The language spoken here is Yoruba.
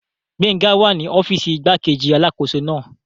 Gbénga wà ní ọ́fìsì igbákejì alákóso náà